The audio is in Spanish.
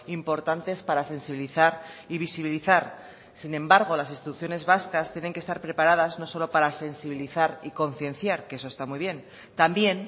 importantes para sensibilizar y visibilizar sin embargo las instituciones vascas tienen que estar preparadas no solo para sensibilizar y concienciar que eso está muy bien también